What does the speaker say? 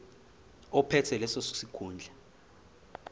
ophethe leso sikhundla